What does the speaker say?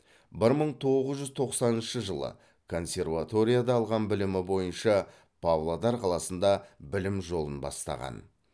бір мың тоғыз жүз тоқсаныншы жылы консерваторияда алған білімі бойынша павлодар қаласында білім жолын бастаған